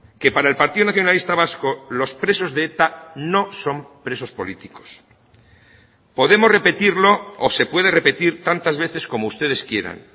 que para el partido nacionalista vasco los presos de eta no son presos políticos podemos repetirlo o se puede repetir tantas veces como ustedes quieran